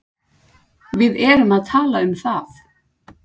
Við erum að tala um það!